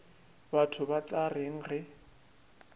batho ba tla reng ge